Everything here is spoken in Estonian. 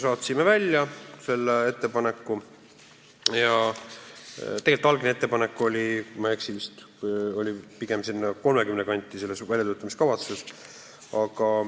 Tegelikult väljatöötamiskavatsuses oli algne ettepanek, kui ma ei eksi, pigem sinna 30 aasta kanti.